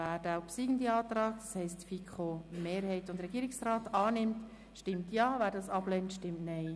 Wer den obsiegenden Antrag von FiKo-Mehrheit und Regierungsrat annimmt, stimmt Ja, wer diesen ablehnt, stimmt Nein.